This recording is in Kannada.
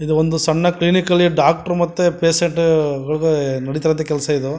ಇದು ಒಂದು ಸಣ್ಣ ಕ್ಲಿನಿಕಲಿ ಡಾಕ್ಟರ್ ಮತ್ತು ಪೇಷಂಟ್ ನುಡಿತ ಇರುವಂಥ ಕೆಲಸ ಇದು.